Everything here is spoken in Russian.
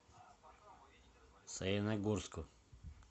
саяногорску